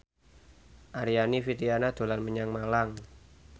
Aryani Fitriana dolan menyang Malang